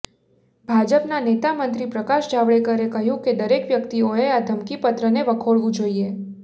ભાજપના નેતા મંત્રી પ્રકાશ જાવડેકરે કહ્યું કે દરેક વ્યક્તિઓએ આ ધમકીપત્રને વખોડવું જોઈએ